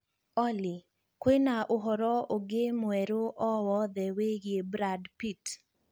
Olly kwīna ūhoro ūngi mwerū o wothe wīgie brad pitt